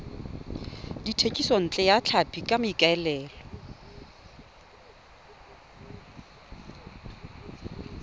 thekisontle ya tlhapi ka maikaelelo